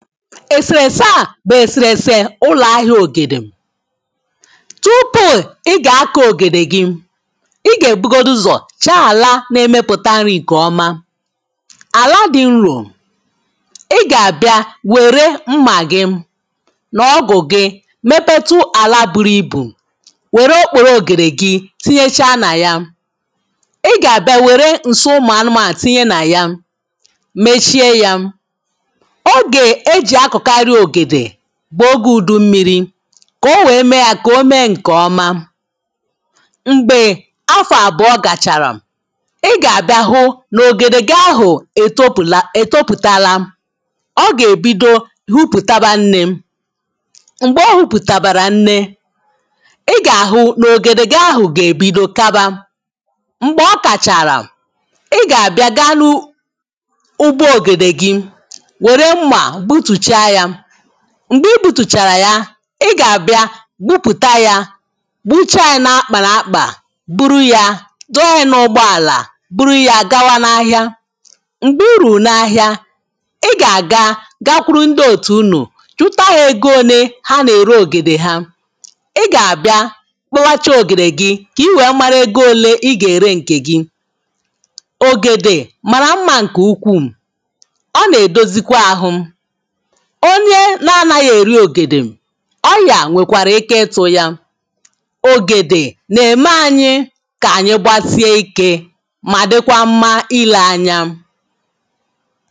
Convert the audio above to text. èsèrèsè a bụ̀ èsèrèsè ụlọ̀ ahịa ògèdè tupuu ị gà-akọ̇ ògèdè gị ị gà-èbugodu ụzọ̀ chaa àla na-emepụ̀ta nri kè ọma àla dị̇ nrò ị gà-àbịa wère mmà gị nà ọgụ̀ gị mepetu àla buru ibù wère okpòrò ògèdè gị tinyecha nà ya ị gà-àbịa wère ǹsi ụmụ̀ anụmànụ̀ tinye nà ya mechie ya bụ̀ ogė ùdummiri̇ kà o wee mee yȧ kà o mee ǹkè ọma m̀gbè afọ̀ àbụọ gàchàrà ị gà-àbịa hụ n’ògèdè gị ahụ̀ ètopụ̀talá ọ gà-èbido hụpụ̀talá nnė m̀gbè ọ hupùtabeghi nnė ị gà-àhụ n’ògèdè gị ahụ̀ gà-èbido kaba m̀gbè ọ kàchàrà ị gà-àbịa gaa nu ụgbọ ògèdè gị m̀gbè ebutùchàrà ya i gà-àbịa gbupùta ya gbuchaa ya n’akpà n’akpà buru ya dọọ ya n’ụgbọ àlà buru ya gawa n’ahịa m̀gbè uru n’ahịa i gà-àga gakwuru ndị òtù unù chutaghị egȯ onye ha nà-ère ògèdè ha i gà-àbịa kpọwacha ògèdè gị kà i wèe mara ego ole i gà-ère ǹkè gị ògèdè màrà mma ǹkè ukwuù ọ nà-èdozikwa ahụ onye na-anaghi eri ògèdè ọyà nwekwarà ike ịtụ̀ yà ògèdè na-eme anyị ka anyị gbasie ike ma dịkwa mma ile anya